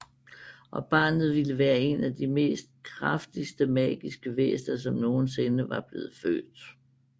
Og barnet ville være en af de mest kraftigste magiske væsner som nogensinde var blevet født